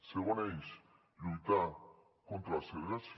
segon eix lluitar contra la segregació